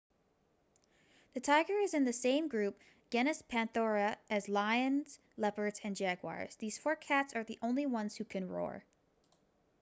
the tiger is in the same group genus panthera as lions leopards and jaguars. these four cats are the only ones who can roar